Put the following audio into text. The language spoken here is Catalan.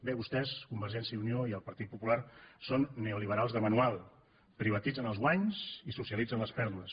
bé vostès convergència i unió i el partit popular són neoliberals de manual privatitzen els guanys i socialitzen les pèrdues